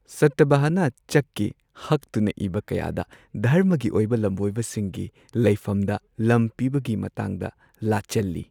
ꯁꯥꯇꯚꯥꯍꯅ ꯆꯛꯀꯤ ꯍꯛꯇꯨꯅ ꯏꯕ ꯀꯌꯥꯗ ꯙꯔꯃꯒꯤ ꯑꯣꯏꯕ ꯂꯝꯕꯣꯏꯕꯁꯤꯡꯒꯤ ꯂꯩꯐꯝꯗ ꯂꯝ ꯄꯤꯕꯒꯤ ꯃꯇꯥꯡꯗ ꯂꯥꯆꯜꯂꯤ꯫